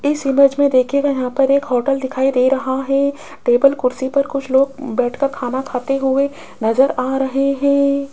इस इमेज में दिखेगा यहां पर एक होटल दिखाई दे रहा है टेबल कुर्सी पर कुछ लोग बैठकर खाना खाते हुए नजर आ रहे हैं।